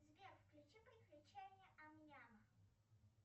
сбер включи приключения ам няма